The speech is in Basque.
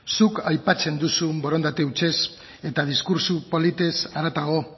zuk aipatzen duzun borondate hutsez eta diskurtso politez haratago